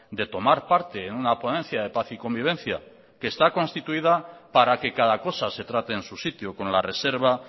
de tomar parte en una ponencia de paz y convivencia que está constituida para que cada cosa se trate en su sitio con la reserva